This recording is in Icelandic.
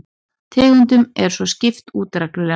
Tegundum er svo skipt út reglulega